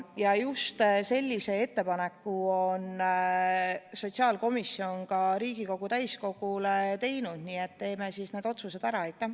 Ja just sellise ettepaneku on sotsiaalkomisjon Riigikogu täiskogule teinud, nii et teeme siis need otsused ära.